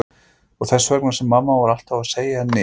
Og þess vegna sem mamma var alltaf að segja henni og